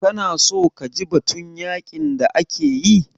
Ka na so kaji batun yaƙin da ake yi?